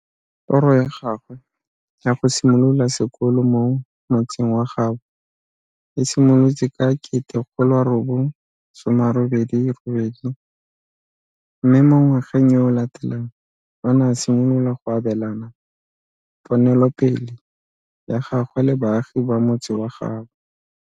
Toro ya gagwe ya go simolola sekolo mo motseng wa gaabo e simolotse ka 1988, mme mo ngwageng yo o latelang o ne a simolola go abelana ponelopele ya gagwe le baagi ba motse wa gaabo.